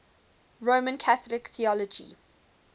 roman catholic theology